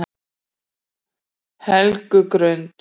Helgugrund